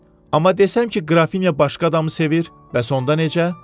Amma desəm ki, Qrafinya başqa adamı sevir, bəs onda necə?